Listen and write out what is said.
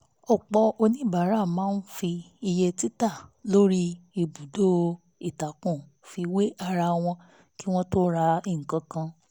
ọ̀pọ̀ oníbàárà máa ń fi iye títa lórí ìbùdó-ìtàkùn fi wé ara wọn kí wọ́n tó ra nǹkan